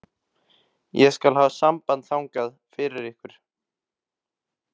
Ég skal hafa samband þangað fyrir ykkur.